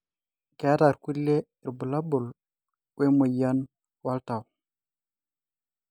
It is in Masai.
keeta ilkulie ilbulabul emoyian oltau.